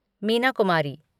Meena Kumari